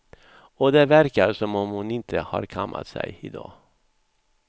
Och det verkar som om hon inte har kammat sig idag.